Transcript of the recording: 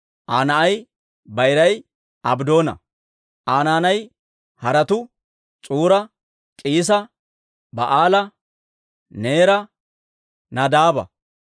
Aa na'ay bayiray Abddoona; Aa naanay haratuu S'uura, K'iisa, Ba'aala, Neera, Nadaaba,